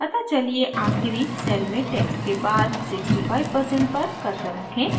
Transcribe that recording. अतः चलिए आखिरी cell में text के बाद 65% पर cursor रखें